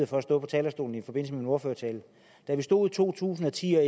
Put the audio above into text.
for at stå på talerstolen i forbindelse med min ordførertale da vi stod i to tusind og ti og